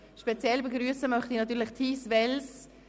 Speziell begrüssen möchte ich natürlich Therese Wells.